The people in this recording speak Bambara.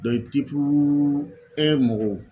mɔgɔw